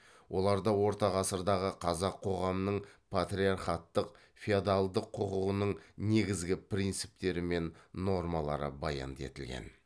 оларда орта ғасырдағы қазақ қоғамының патриархаттық феодалдық құқығының негізгі принциптері мен нормалары баянды етілген